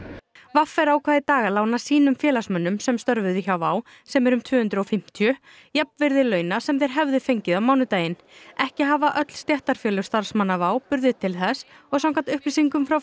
v r ákvað í dag að lána sínum félagsmönnum sem störfuðu hjá WOW sem eru um tvö hundruð og fimmtíu jafnvirði launa sem þeir hefðu fengið á mánudaginn ekki hafa öll stéttarfélög starfsmanna WOW burði til þess og samkvæmt upplýsingum frá